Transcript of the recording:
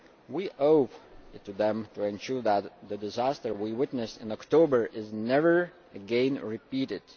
We owe it to them to ensure that the disaster we witnessed in October is never again repeated.